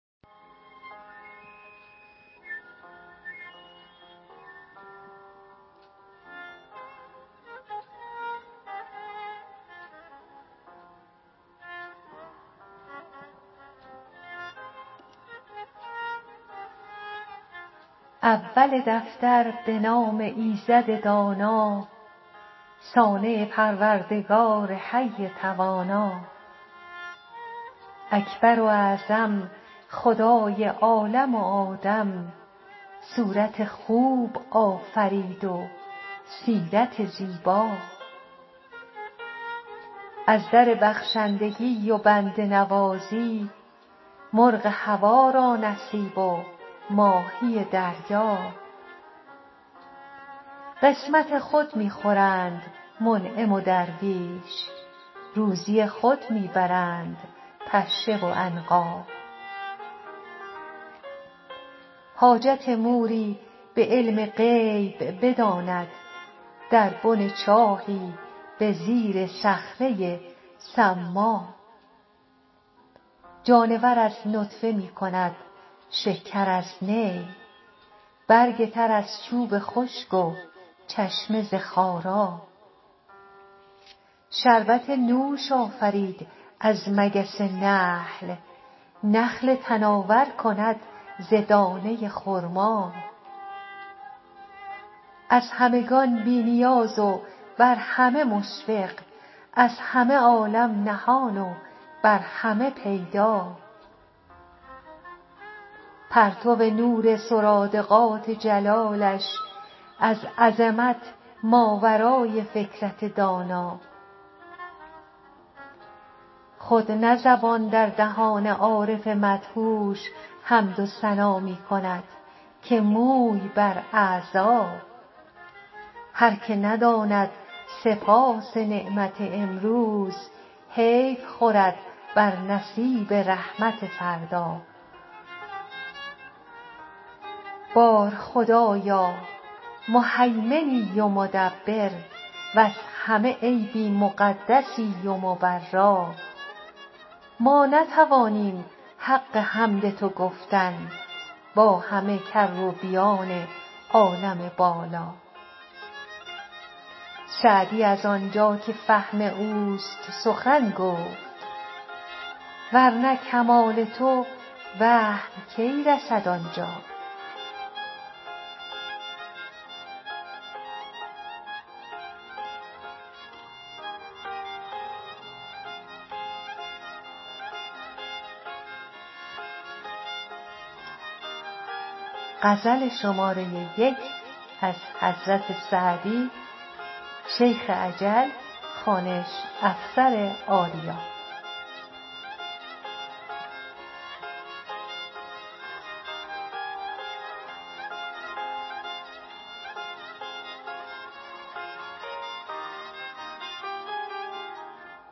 اول دفتر به نام ایزد دانا صانع پروردگار حی توانا اکبر و اعظم خدای عالم و آدم صورت خوب آفرید و سیرت زیبا از در بخشندگی و بنده نوازی مرغ هوا را نصیب و ماهی دریا قسمت خود می خورند منعم و درویش روزی خود می برند پشه و عنقا حاجت موری به علم غیب بداند در بن چاهی به زیر صخره ی صما جانور از نطفه می کند شکر از نی برگ تر از چوب خشک و چشمه ز خارا شربت نوش آفرید از مگس نحل نخل تناور کند ز دانه ی خرما از همگان بی نیاز و بر همه مشفق از همه عالم نهان و بر همه پیدا پرتو نور سرادقات جلالش از عظمت ماورای فکرت دانا خود نه زبان در دهان عارف مدهوش حمد و ثنا می کند که موی بر اعضا هر که نداند سپاس نعمت امروز حیف خورد بر نصیب رحمت فردا بار خدایا مهیمنی و مدبر وز همه عیبی مقدسی و مبرا ما نتوانیم حق حمد تو گفتن با همه کروبیان عالم بالا سعدی از آنجا که فهم اوست سخن گفت ور نه کمال تو وهم کی رسد آنجا